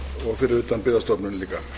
og fyrir utan byggðastofnun líka